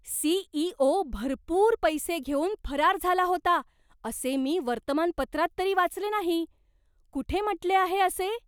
CEO. भरपूर पैसे घेऊन फरार झाला होता, असे मी वर्तमानपत्रात तरी वाचले नाही. कुठे म्हटले आहे असे?